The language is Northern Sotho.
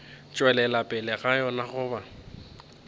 tšwelela pele ga yona goba